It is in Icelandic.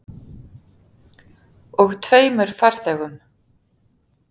Og tveimur farþegum.